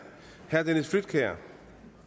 herre dennis flydtkjær